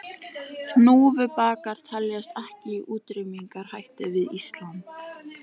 Hnúfubakar teljast ekki í útrýmingarhættu við Ísland.